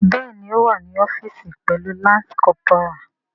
Bẹẹni o wa ni ọfiisi pẹlu lance corporal.